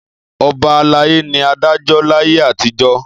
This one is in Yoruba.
Ọba alayé ni adájọ́ láyé àtijọ́.